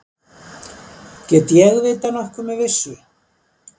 Get ég vitað nokkuð með vissu?